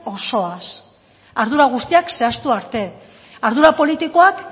osoz ardura guztiak zehaztu arte ardura politikoak